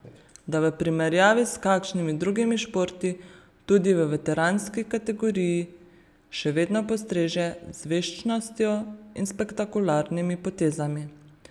Da v primerjavi s kakšnimi drugimi športi tudi v veteranski kategoriji še vedno postreže z veščostjo in spektakularnimi potezami.